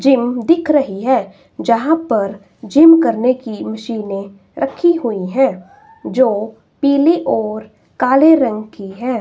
Gym दिख रही है जहां पर जिम करने की मशीनें रखी हुए हैं जो पीले और काले रंग की हैं।